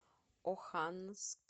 оханск